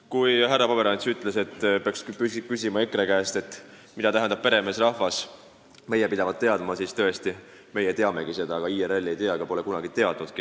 Kui härra Pomerants ütles, et peaks küsima EKRE käest, mida tähendab peremeesrahvas – meie pidavat teadma –, siis tõesti, meie teamegi seda, aga IRL ei tea ega pole kunagi teadnudki.